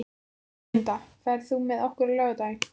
Erlinda, ferð þú með okkur á laugardaginn?